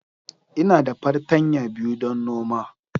Ina da fartanya biyu don noma.